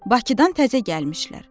Bakıdan təzə gəlmişlər.